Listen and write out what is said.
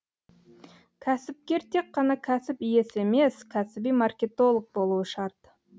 кәсіпкер тек қана кәсіп иесі емес кәсіби маркетолог болуы шарт